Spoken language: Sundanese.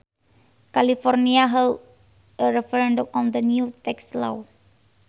California held a referendum on the new tax law